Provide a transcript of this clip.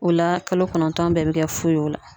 O la kalo kɔnɔntɔn bɛɛ bɛ kɛ fu ye o la.